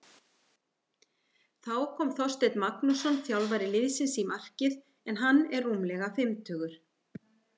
Þá kom Þorsteinn Magnússon þjálfari liðsins í markið en hann er rúmlega fimmtugur.